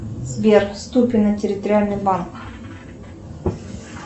сбер ступино территориальный банк